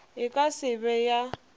e ka se be ya